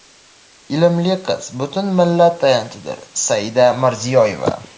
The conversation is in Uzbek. ilmli qiz – butun millat tayanchidir — Saida Mirziyoeva.